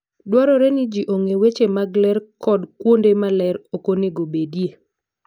Dwarore ni ji ong'e weche mag ler kod kuonde ma ler ok onego obedie.